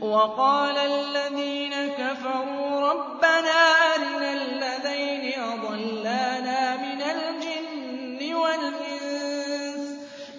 وَقَالَ الَّذِينَ كَفَرُوا رَبَّنَا أَرِنَا اللَّذَيْنِ أَضَلَّانَا مِنَ الْجِنِّ وَالْإِنسِ